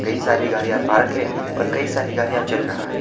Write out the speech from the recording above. कई सारी गाड़ियां पार्क है और कई सारी गाड़ियां चल रहा है।